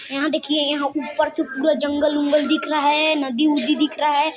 यहाँ देखिए यहाँ ऊपर से पूरा जंगल उंगल दिख रहा है नदी उदी दिख रहा हैं।